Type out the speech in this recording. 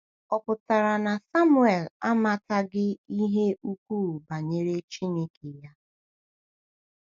Ọ̀ pụtara na Samuel amataghị ihe ukwuu banyere Chineke ya?